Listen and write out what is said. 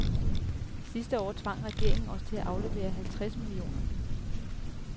Sidste år tvang regeringen os til at aflevere halvtreds millioner.